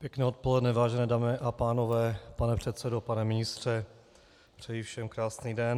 Pěkné odpoledne, vážené dámy a pánové, pane předsedo, pane ministře, přeji všem krásný den.